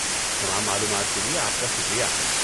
تمام معلومات کے لیے آپ کا شکریہ۔